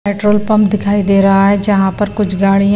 petrol pump दिखाई दे रहा है जहां पर कुछ गाड़ियां--